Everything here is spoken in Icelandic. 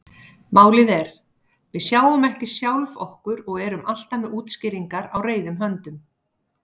Málið er: Við sjáum ekki sjálf okkur og erum alltaf með útskýringar á reiðum höndum.